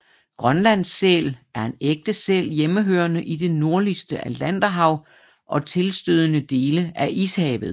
Grønlandssæl er en ægte sæl hjemmehørende i det nordligste Atlanterhav og tilstødende dele af Ishavet